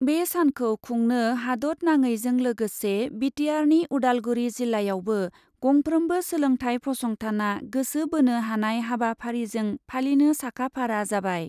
बे सानखौ खुंनो हादतनाङैजों लोगोसे बिटिआरनि उदालगुरि जिल्लायावबो गंफ्रोमबो सोलोंथाय फसंथानआ गोसो बोनो हानाय हाबाफारिजों फालिनो साखा फारा जाबाय ।